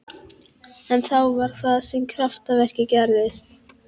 En þá var það sem kraftaverkið gerðist.